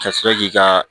Ka sɔrɔ k'i ka